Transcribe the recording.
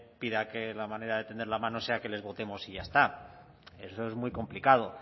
pida que la manera de tender la mano sea que les votemos y ya está eso es muy complicado